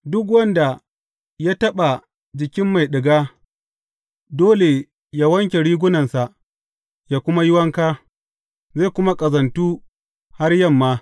Duk wanda ya taɓa jikin mai ɗiga, dole yă wanke rigunansa, yă kuma yi wanka, zai kuma ƙazantu har yamma.